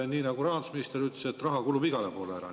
Nii nagu rahandusminister ütles, raha kulub igale poole ära.